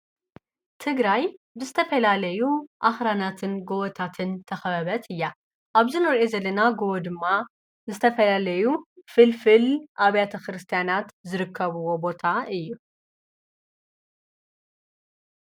ትግራይ ብዝተፈላለዩ ኣኽራናትን ጐወታትን ዝተኸበበት እያ። ኣብዚ ንሪእዮ ዘለና ጐወ ድማ ዝተፈላለዩ ፍልፍል ኣብያተ ክርስቲያናት ዝርከብዎ ቦታ እዩ።